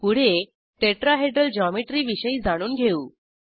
पुढे tetrahedral geometry विषयी जाणून घेऊ